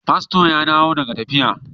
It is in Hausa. Pasto ya dawo daga tafiya.